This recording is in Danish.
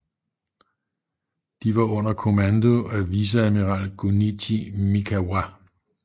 De var under kommando af viceadmiral Gunichi Mikawa